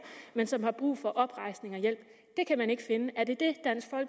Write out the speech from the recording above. men som har brug for oprejsning og hjælp kan man ikke finde er det